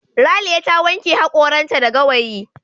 Raliya ta wanke hakoranta da gawayi.